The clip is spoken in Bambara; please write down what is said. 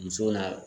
Muso na